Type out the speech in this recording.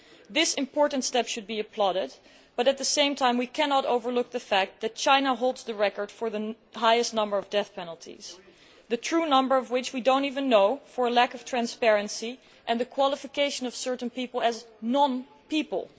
This important step should be applauded, but at the same time, we cannot overlook the fact that China holds the record for the highest number of death penalties, the true number of which we do not even know, due to a lack of transparency and the fact that certain people are qualified as non people.